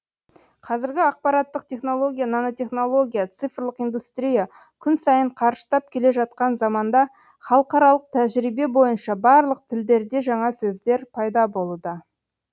қазіргі ақпараттық технология нанотехнология цифрлық индустрия күн сайын қарыштап келе жатқан заманда халықаралық тәжірибе бойынша барлық тілдерде жаңа сөздер пайда болуда